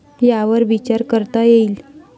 यावर विचार करता येईल.